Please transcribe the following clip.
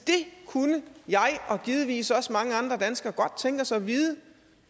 kunne jeg og givetvis også mange andre danskere godt tænke os at vide